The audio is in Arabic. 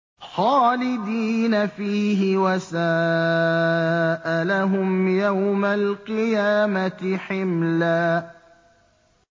خَالِدِينَ فِيهِ ۖ وَسَاءَ لَهُمْ يَوْمَ الْقِيَامَةِ حِمْلًا